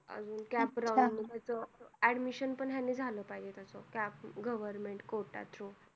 अजून CAP round ह्याचं admission पण ह्याने झालं पाहिजे त्याचं, CAP government quota through.